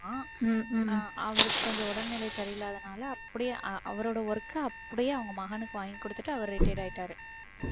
அஹ் அவருக்கு கொஞ்சம் உடல்நிலை சரியில்லாதனால அப்படியே அவரோட work க அப்படியே அவங்க மகனுக்கு வாங்கி கொடுத்துட்டு அவர் retired ஆயிட்டாரு.